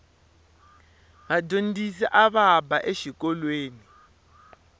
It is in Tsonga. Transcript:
vadyondzisi ava ba exikolweni